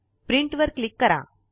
print वर click करा